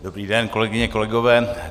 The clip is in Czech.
Dobrý den, kolegyně, kolegové.